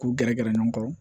K'u gɛrɛ gɛrɛ ɲɔgɔn kɔrɔ